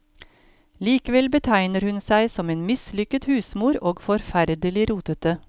Likevel betegner hun seg som en mislykket husmor og forferdelig rotete.